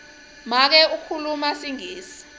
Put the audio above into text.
make ukhuluma singisi